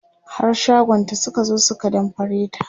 har shagonta Suka zo su ka damfare ta